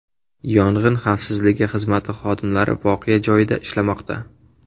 Yong‘in xavfsizligi xizmati xodimlari voqea joyida ishlamoqda.